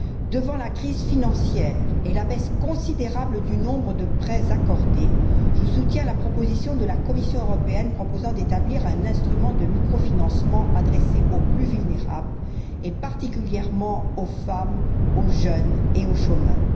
Devant la crise financière et la baisse considérable du nombre de prêts accordés, je soutiens la proposition de la Commission européenne proposant d'établir un instrument de microfinancement adressé aux plus vulnérables, et particulièrement aux femmes, aux jeunes et aux chômeurs.